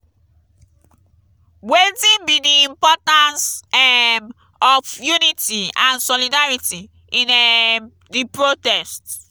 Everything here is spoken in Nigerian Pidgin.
wetin be di importance um of unity and solidarity in um di protest?